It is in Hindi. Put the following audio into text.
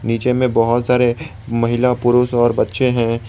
नीचे में बहुत सारे महिला पुरुष और बच्चे हैं।